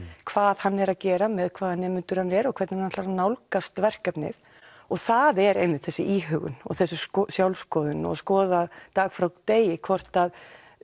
hvað hann er að gera með hvaða nemendur hann er og hvernig hann ætlar að nálgast verkefnið og það er einmitt þessi íhugun og þessi sjálfskoðun og skoða dag frá degi hvort að